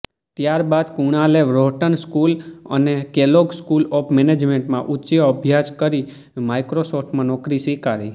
ત્યારબાદ કુણાલે Wharton school અને કેલોગ સ્કૂલ ઓફ મેનેજમેન્ટમાં ઉચ્ચ અભ્યાસ કરી માઈક્રોસોફ્ટમાં નોકરી સ્વીકારી